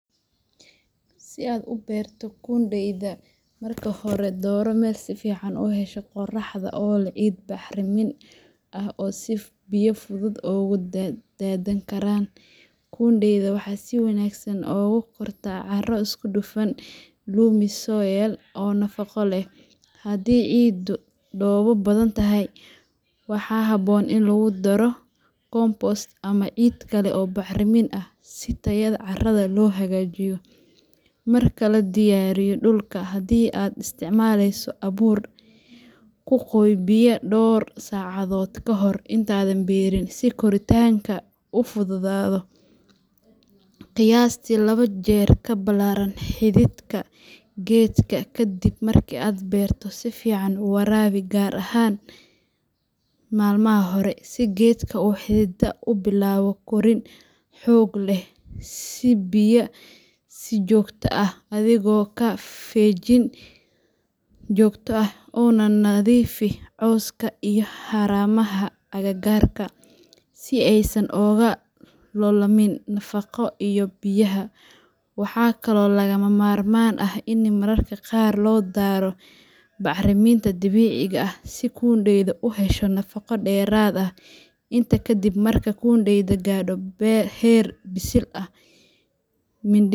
Si aad u beerto kundeyda, marka hore dooro meel si fiican u hesha qorraxda oo leh ciid bacrin ah oo biyo si fudud uga daadan karaan. Kundeydu waxay si wanaagsan ugu kortaa carro isku dhafan loamy soil oo nafaqo leh. Haddii ciiddu dhoobo badan tahay, waxaa habboon in lagu daro compost ama ciid kale oo bacrin ah si tayada carrada loo hagaajiyo. Marka la diyaariyo dhulka, haddii aad isticmaalayso abuur, ku qoy biyo dhowr saacadood ka hor intaadan beerin si koritaanku u fududaado. Haddii aad isticmaalayso geed yar seedling, si taxaddar leh uga saar weelka oo geli god weyn oo qiyaastii laba jeer ka ballaaran xididka geedka. Kadib marka aad beerto, si fiican u waraabi, gaar ahaan maalmaha hore, si geedka u xidido una bilaabo korriin xoog leh. Sii biyo si joogto ah, adigoo ka feejigan inaadan biyaha ku badin si aanay xididadu u qudhmin. Markuu geedku bilaabo koritaan joogto ah, si joogto ah uga nadiifi cawska iyo haramaha agagaarka, si aysan uga loolamin nafaqada iyo biyaha. Waxaa kaloo lagama maarmaan ah in mararka qaar loo daro bacriminta dabiiciga ah si kundeydu u hesho nafaqo dheeraad ah. Intaa kadib, marka kundeydu gaadho heer bisil ah.